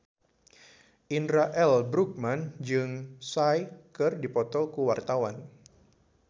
Indra L. Bruggman jeung Psy keur dipoto ku wartawan